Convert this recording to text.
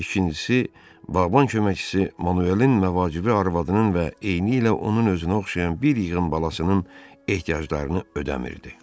İkincisi, bağban köməkçisi Manuelin məvacibi arvadının və eynilə onun özünə oxşayan bir yığın balasının ehtiyaclarını ödəmirdi.